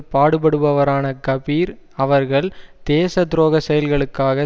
பாடுபடுபவரான கபீர் அவர்கள் தேச துரோக செயல்களுக்காக